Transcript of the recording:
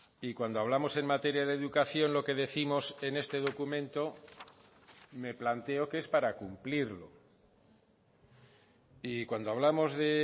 y cuando hablamos en materia de educación lo que décimos en este documento me planteo que es para cumplirlo y cuando hablamos de